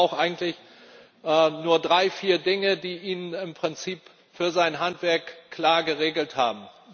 Der Fischer braucht eigentlich nur drei, vier Dinge, die wir im Prinzip für sein Handwerk klar geregelt haben.